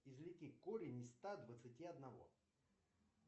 извлеки корень из ста двадцати одного